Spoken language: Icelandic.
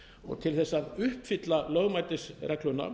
og til þess að uppfylla lögmætisregluna